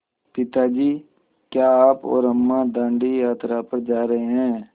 पिता जी क्या आप और अम्मा दाँडी यात्रा पर जा रहे हैं